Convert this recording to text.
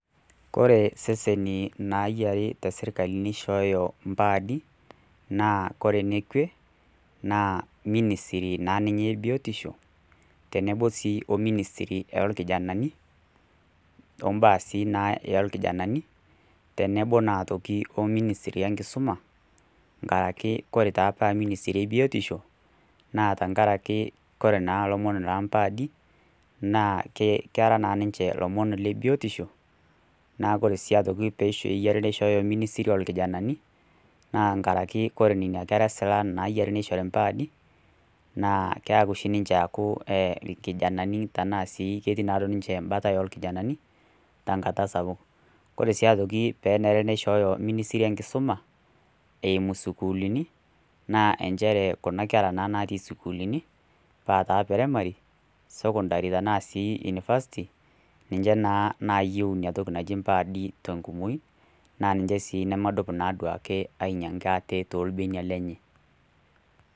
Kore iseseni naayiare te sirkali neishooyo mpaadi, naa kore enekwe naa ninisirii naa ninye e biotisho tenebo sii o minisiri oo lkijanani, o mbaa sii oolkijanani, tenebo naa aitoki o minisiri o enkisuma enkaraki ore taa paa minisiri e biotisho, naa tenkaraki kore naa ilomon loo impaadi, naa kera naa ninche ilomon le biotisho, naa kore sii aitoki kore pe eishooyo minisiri o lkijanani naa keyare kore nena kera silan nayiare neishori impaadi, naa keaku oshi ninche aaku ilkijanani tanaa sii duo etii ninche embata o lkijanani tenkata sapuk. Kore sii aitoki pee enare neishooyo minisiri enkisuma eimu sukuulini naa enchere kuna kera naa natii isukulini paa taa e peremari, sokondari tanaa sii unifasti, ninche naa naayiou nena toki naaji impaadi, te enkumoi naa ninche sii nemedup siiake anyang'aki aate toolbenia lenye.